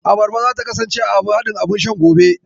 Abarba zata kasance a haɗin abun shan gobe.